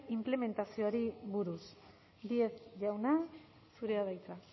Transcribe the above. inplementazioari buruz díez jauna zurea da hitza